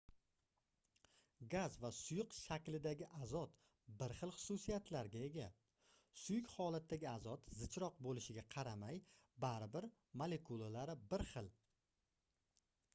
gaz va suyuq shaklidagi azot bir xil xususiyatlarga ega suyuq holatdagi azot zichroq boʻlishiga qaramay bari bir molekulalari bir xil